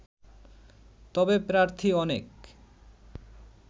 তবে প্রার্থী অনেক